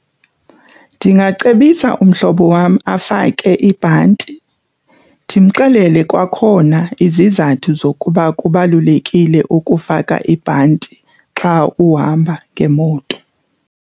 Ndingacebisa umhlobo wam afake ibhanti ndimxelele kwakhona izizathu zokuba kubalulekile ukufaka ibhanti xa uhamba ngemoto.